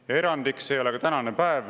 Ja erandiks ei ole ka tänane päev.